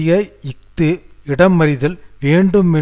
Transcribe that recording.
உள்ளடக்கியது வேலை வெட்டுக்களுக்கு எதிராக பாதுகாப்பு